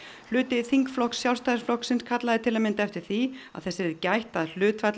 hluti þingflokks Sjálfstæðisflokksins kallaði til að mynda eftir því að þess yrði gætt að hlutfall